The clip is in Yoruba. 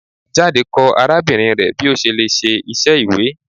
Jade kọ arabinrin rẹ bi o ṣe le ṣe iṣẹ iwe